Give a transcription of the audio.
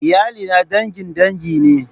Iyalina dangin dangi ne.